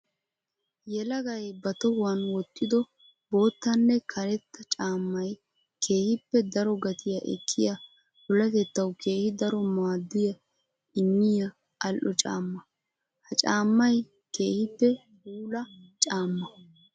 Yelagay ba tohuwan wotiddo boottanne karetta caamay keehippe daro gatiya ekkiya puulatettawu keehi daro maaduwa immiya ali'o caamma. Ha caamay keehippe puula caama.